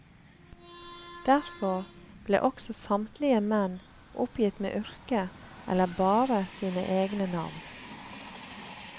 Derfor ble også samtlige menn oppgitt med yrke eller bare sine egne navn.